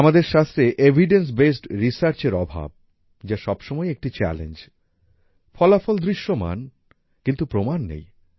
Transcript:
আমাদের শাস্ত্রে evidence based Researchএর অভাব যা সবসময়ই একটি চ্যালেঞ্জ ফলাফল দৃশ্যমান কিন্তু প্রমাণ নেই